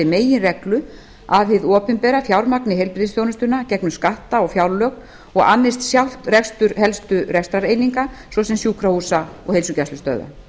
meginreglu að hið opinbera fjármagni heilbrigðisþjónustuna gegnum skatta og fjárlög og annist sjálft rekstur helstu rekstrareininga svo sem sjúkrahúsa og heilsugæslustöðva